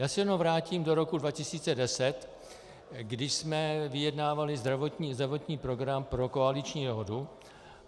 Já se jenom vrátím do roku 2010, kdy jsme vyjednávali zdravotní program pro koaliční dohodu.